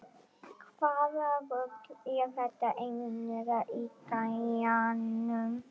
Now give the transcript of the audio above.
Hvaða rugl er þetta eiginlega í gæjanum?